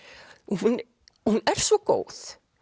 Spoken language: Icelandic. hún er svo góð